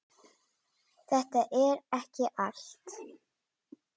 Þetta er ekki allt.